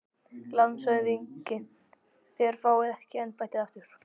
LANDSHÖFÐINGI: Þér fáið ekki embættið aftur